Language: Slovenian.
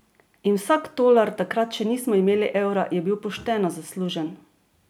In vsak tolar, takrat še nismo imeli evra, je bil pošteno zaslužen!